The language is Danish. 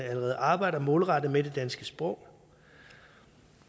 allerede arbejder målrettet med det danske sprog